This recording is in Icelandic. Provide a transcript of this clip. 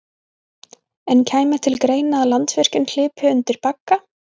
En kæmi til greina að Landsvirkjun hlypi undir bagga?